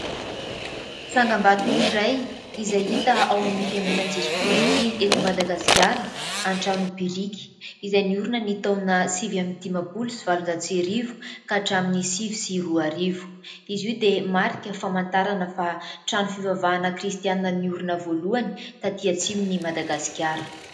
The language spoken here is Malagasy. Tsangambato iray izay hita ao amin'ny Fiangonan'i Jesoa Kristy eto Madagasikara an-trano biriky izay niorina ny taona sivy amby dimampolo sy valonjato sy arivo ka hatramin'ny sivy sy roarivo izy io dia marika famantarana fa trano fivavahana kristianina niorina voalohany tatỳ atsimon'i Madagasikara.